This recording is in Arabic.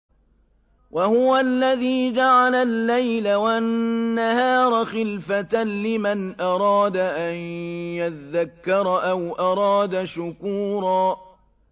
وَهُوَ الَّذِي جَعَلَ اللَّيْلَ وَالنَّهَارَ خِلْفَةً لِّمَنْ أَرَادَ أَن يَذَّكَّرَ أَوْ أَرَادَ شُكُورًا